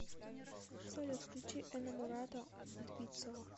салют включи энаморато двицио